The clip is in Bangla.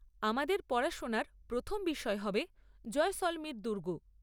আমাদের পড়াশোনার প্রথম বিষয় হবে জয়সলমীর দুর্গ।